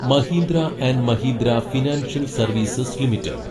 Mahindra and Mahindra financial services limited